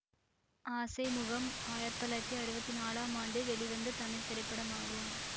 ஆசை முகம் ஆயிரத்தி தொள்ளாயிரத்தி அறுவத்தி நாலாம் ஆண்டு வெளிவந்த தமிழ் திரைப்படமாகும்